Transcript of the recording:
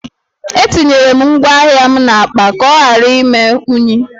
Etinyere m ngwá ahịa m n’akpa ka ọ ghara ime unyi